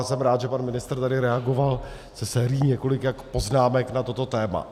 A jsem rád, že pan ministr tady reagoval se sérií několika poznámek na toto téma.